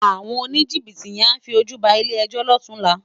Awòn ónijibiti yèn á fi ójú bá ilé èjò lòtúnlá